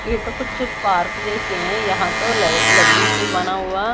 ये तो कुछ पार्क जैसे है यहां तो ल लकड़ी से बना हुआ--